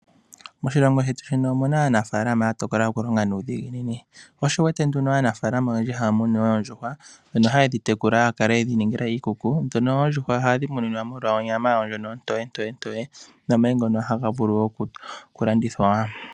Moshilongo shetu shino omuna aanafalama yatokola okulonga nuudhiginini. Sho osho wuwete nduno aanafalama oyendji haya munu oondjuhwa ano haye dhitekula haya kala yedhi ningila iikuku. Ndhono oondjuhwa ohadhi muninwa molwa onyama yawo ndjono ontoye ntoye ntoye nomayi ngono haga vulu okulandithwa wo.